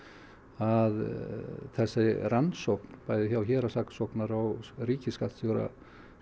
að þessi rannsókn bæði hjá héraðssaksóknara og ríkisskattstjóra